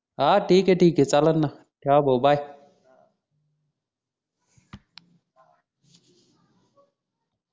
हा ठीक आहे ठीक आहे चालेल णा ठेवा भाऊ bye